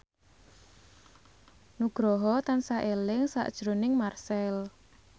Nugroho tansah eling sakjroning Marchell